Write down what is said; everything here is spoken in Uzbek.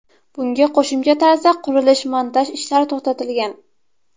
Bunga qo‘shimcha tarzda qurilish-montaj ishlari to‘xtatilgan.